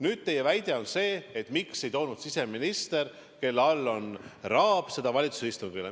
Nüüd, teie küsimus on see, miks ei toonud siseminister, kelle all on rahapesu, seda teemat valitsuse istungile.